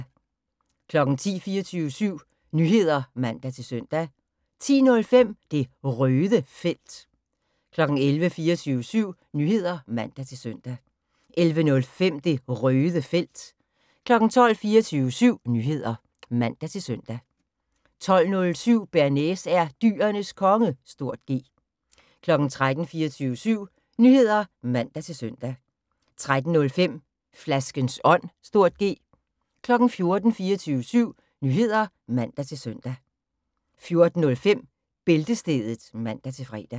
10:00: 24syv Nyheder (man-søn) 10:05: Det Røde Felt 11:00: 24syv Nyheder (man-søn) 11:05: Det Røde Felt 12:00: 24syv Nyheder (man-søn) 12:07: Bearnaise er Dyrenes Konge (G) 13:00: 24syv Nyheder (man-søn) 13:05: Flaskens Ånd (G) 14:00: 24syv Nyheder (man-søn) 14:05: Bæltestedet (man-fre)